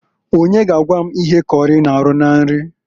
Onye ga agwa m ihe kọrị na-arụ na nri?